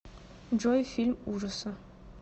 джой фильм ужаса